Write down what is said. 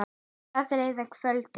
Það leið að kvöldi.